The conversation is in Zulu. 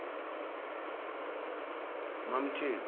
mamthembu